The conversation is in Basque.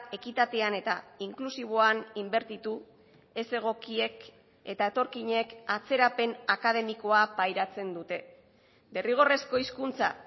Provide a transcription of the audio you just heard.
ekitatean eta inklusiboan inbertitu ez egokiek eta etorkinek atzerapen akademikoa pairatzen dute derrigorrezko hizkuntza